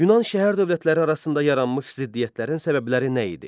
Yunan şəhər dövlətləri arasında yaranmış ziddiyyətlərin səbəbləri nə idi?